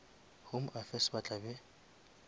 home affairs ba tla be